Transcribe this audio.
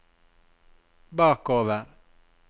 bakover